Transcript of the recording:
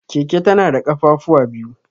Keke tana da ƙafafuwa biyu.